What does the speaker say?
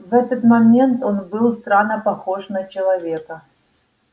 в этот момент он был странно похож на человека